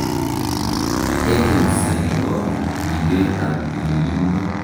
agency nebo ribet ab tililindo